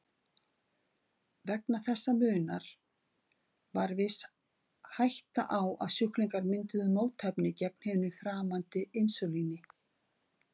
Vegna þessa munar var viss hætta á að sjúklingar mynduðu mótefni gegn hinu framandi insúlíni.